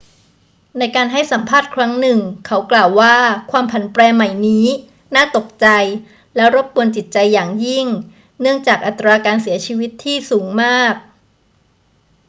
ในการให้สัมภาษณ์ครั้งหนึ่ง เขากล่าวว่าความผันแปรใหม่นี้ น่าตกใจและรบกวนจิตใจอย่างยิ่งเนื่องจากอัตราการเสียชีวิตที่สูงมาก